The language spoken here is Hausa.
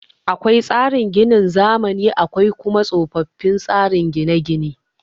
Akwai tsarin ginin zamani akwai kuma tsofin tsarin gine gine